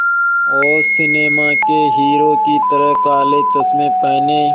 और सिनेमा के हीरो की तरह काले चश्मे पहने